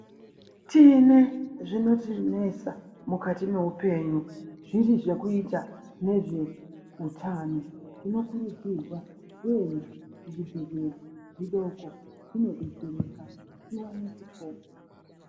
Tine zvinotinesa mukati mweupenyu zviri zvekuita nezveutano. Tinokurudzirwa kuenda kuzvibhedhlera zvinodoko tinodetsereka tiwane kupo